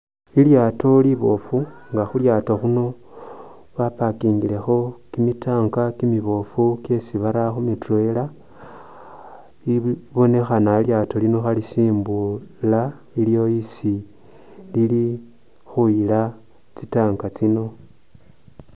Lilyaato liboofu nga khu lyaato khuno ba pakingilekho kimi tanka kimiboofu kyesi bara kumi turela libonekhana lilyaato lino khelisimbula iliyo hesi lili khuyila tsi tank tsino.